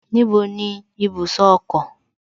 Níbo ni ibùsọ̀ ọkọ̀?